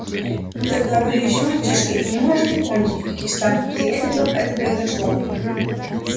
вы тогда были ещё мальчишкой и не можете помнить при каких странных обстоятельствах это произошло